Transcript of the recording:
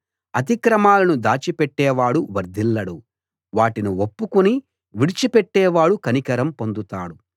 అతిక్రమాలను దాచిపెట్టేవాడు వర్ధిల్లడు వాటిని ఒప్పుకుని విడిచిపెట్టేవాడు కనికరం పొందుతాడు